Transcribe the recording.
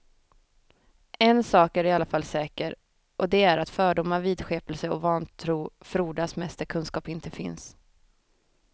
En sak är i alla fall säker och det är att fördomar, vidskepelse och vantro frodas mest där kunskap inte finns.